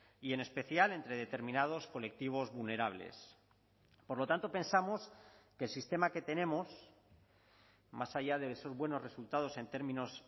y en especial entre determinados colectivos vulnerables por lo tanto pensamos que el sistema que tenemos más allá de esos buenos resultados en términos